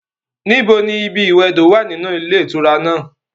Níbo ni ibi ìwẹdò wà ninú ilé ìtura náà?